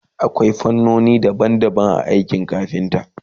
akwai fannoni daban daban a aikin kafinta